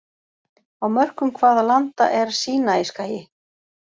Á mörkum hvaða landa er Sínaískagi?